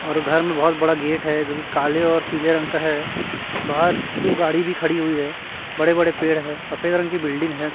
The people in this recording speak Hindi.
और घर में बहोत बड़ा गेट है जोकि काले और पीले रंग का है बाहर दो गाड़ी भी खड़ी हुई है बड़े-बड़े पेड़ है सफेद रंग की बिल्डिंग है।